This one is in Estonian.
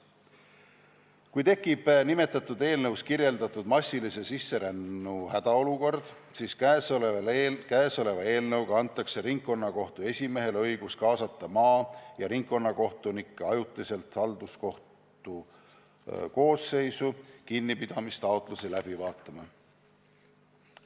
Kui tekib selles eelnõus kirjeldatud massilise sisserännu hädaolukord, siis käesoleva eelnõuga antakse ringkonnakohtu esimehele õigus kaasata maa- ja ringkonnakohtunikke ajutiselt halduskohtu koosseisu kinnipidamistaotlusi läbi vaatama.